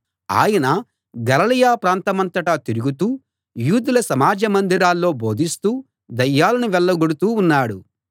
ఆయన గలిలయ ప్రాంతమంతటా తిరుగుతూ యూదుల సమాజ మందిరాల్లో బోధిస్తూ దయ్యాలను వెళ్ళగొడుతూ ఉన్నాడు